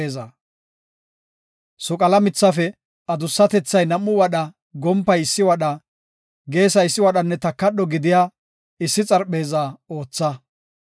“Soqala mithafe adussatethay nam7u wadha, gompay issi wadha, geesay issi wadhanne takadho gidiya issi xarpheeza ootha.